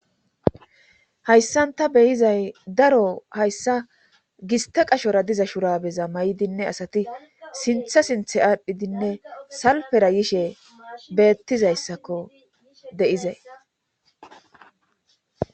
hayssan ta beyizay daro hayssa gista qashora diza shurabeza may7dinne asati sintha sinthe aadhdhidinne salpera yishe beettizayssakko deizay